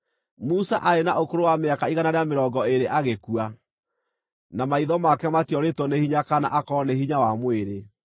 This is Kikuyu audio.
Musa aarĩ na ũkũrũ wa mĩaka igana rĩa mĩrongo ĩĩrĩ agĩkua, na maitho make matiorĩtwo nĩ hinya kana akoorwo nĩ hinya wa mwĩrĩ.